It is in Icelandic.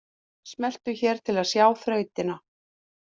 Smelltu hér til að sjá þrautina